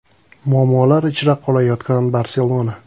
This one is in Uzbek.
Muammolar ichra qolayotgan “Barselona”.